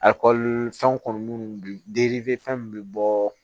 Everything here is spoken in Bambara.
fɛnw kɔni munnu fɛn min bɛ bɔɔ